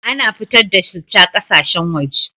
Ana fitar da citta ƙasashen waje